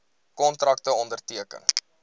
kontrakte onderteken